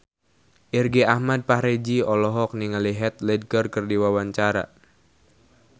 Irgi Ahmad Fahrezi olohok ningali Heath Ledger keur diwawancara